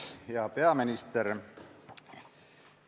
Hea peaminister!